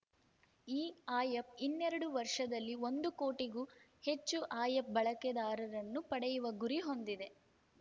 ಈ app ಇನ್ನೆರಡು ವರ್ಷದಲ್ಲಿ ಒಂದು ಕೋಟಿಗೂ ಹೆಚ್ಚು ಆ್ಯ ಅಪ್‌ ಬಳಕೆದಾರರನ್ನು ಪಡೆಯುವ ಗುರಿ ಹೊಂದಿದೆ